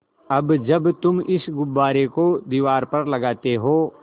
अब जब तुम इस गुब्बारे को दीवार पर लगाते हो